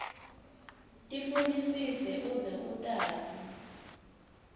tifunisise uze utati